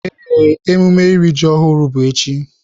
Ee, emume iri ji ọhụrụ bụ echi.